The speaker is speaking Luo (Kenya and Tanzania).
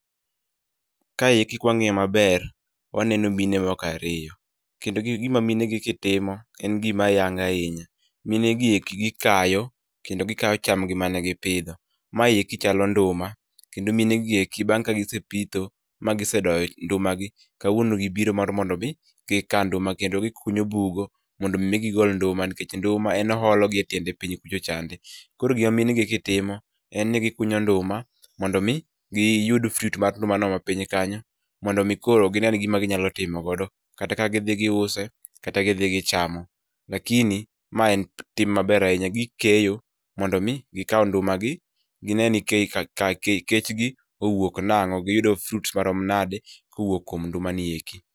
Kayeki kwang'iye maber, waneno mine moko ariyo. Kendo gi gima mine gieki timo, en gima ayanga ahinya. Min gieki gikayo, kendo gikayo chamgi mane gipidho. Mayeki chalo nduma, kendo mine gieki bang' ka gisepitho, magisedoyo nduma gi, kawuono gibiro mar mondo mi, gikaa nduma kendo gikunyo bugo, mondo mi igol nduma nikech nduma e oholo gi e tiende piny kucho chande. Koro gima mine gieki timo, en ni gikunyo nduma, mondo mi, gi yud fruit mar nduma no mapiny kanyo, mondo mi koro ginen gima ginyalo timo godo. Kata kaa gidhi giuse, kata gidhi gichamo. lakini, ma en tim maber ahinya gikeyo, mondo mi gikaw nduma gi, gineni kechgi owuok nang'o, giyudo fruits marom nade, kowuok kuom nduma ni eki